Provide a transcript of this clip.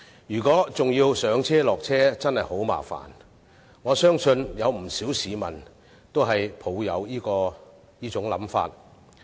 如果要上車、下車，真的很麻煩，而我相信不少市民均抱持這種想法。